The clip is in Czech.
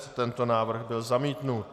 Tento návrh byl zamítnut.